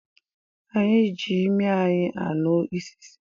Anyị ji ịmị anyị ànú ị́sìsì